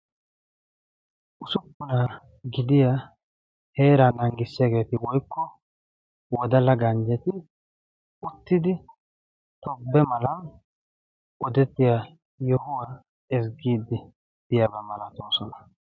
Ussuppuna gidiyaa heera naagissiyaageeti woykko wodalla ganjjeti uttidi tobbe mala odetiyaa yohuwa ezggiidi diyaaba malatoosona.